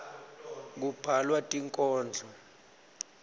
kubhalwa tinkhondlo